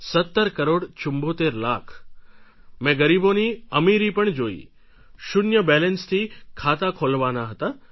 17 કરોડ 74 લાખ મેં ગરીબોની અમીરી પણ જોઈ શૂન્ય બેલેન્સથી ખાતા ખોલવાના હતા